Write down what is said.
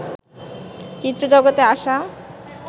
চিত্র জগতে আসা